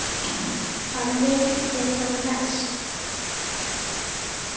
Hann vildi það mest.